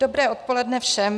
Dobré odpoledne všem.